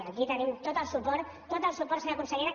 aquí tenim tot el suport tot el suport senyora consellera